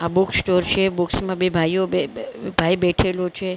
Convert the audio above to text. આ બુકસ્ટોર છે બુક્સ માં બે ભાઈઓ બે બે ભાઈ બેઠેલો છે--